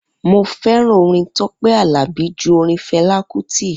Mo fẹ́ràn orin Tọpẹ Alabi ju orin Fẹla Kuti